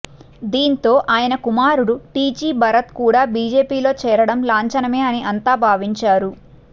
దీంతో ఆయన కుమారుడు టీజీ భరత్ కూడా బీజేపీలో చేరడం లాంఛనమే అని అంతా భావించారు